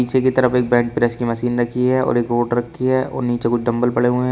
पीछे की तरफ एक बैंक प्रेस की मशीन रखी है और एक वोट रखी है और नीचे कुछ डंबल पड़े हुएं--